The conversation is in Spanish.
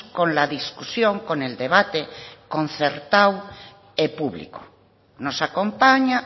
con la discusión con el debate concertado público nos acompaña